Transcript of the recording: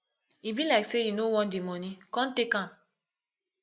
e be like say you no want the money come take am